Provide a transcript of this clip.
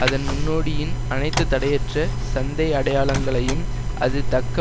அதன் முன்னோடியின் அனைத்து தடையற்ற சந்தை அடையாளங்களையும் அது தக்க